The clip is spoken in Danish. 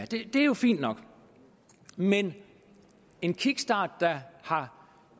det er jo fint nok men en kickstart der har